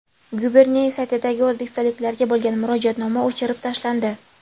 Guberniyev saytidagi o‘zbekistonliklarga bo‘lgan murojaatnoma o‘chirib tashlandi.